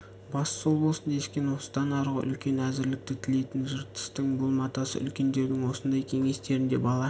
басы сол болсын дескен осыдан арғы үлкен әзірлікті тілейтін жыртыстың бұл матасы үлкендердің осындай кеңестерінде бала